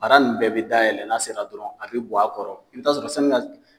Baara nunnu bɛɛ bi dayɛlɛ n'a sera dɔrɔn a bi bɔ a kɔrɔ, i bi taa sɔrɔ sanni ka se